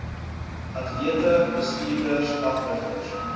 atlete bestuurders afrigters